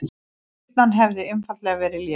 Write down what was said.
Spyrnan hefði einfaldlega verið léleg